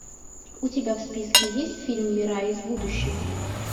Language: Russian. у тебя в списке есть фильм мира из будущего